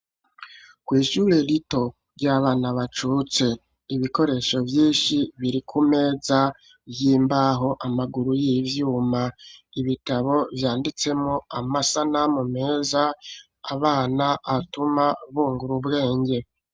Kwishure rito ryabana bacutse ibikoresho vyinshi biri kumeza y'imbaho amaguru y'ivyuma ibitabo vyanditseko amasanamu meza abana atuma bungura ubwenge.